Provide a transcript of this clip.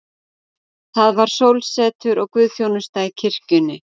Það var sólsetur og guðsþjónusta í kirkjunni.